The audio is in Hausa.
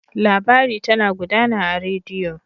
Labari tana gudana a rediyo.